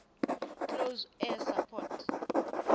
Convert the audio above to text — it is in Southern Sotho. close air support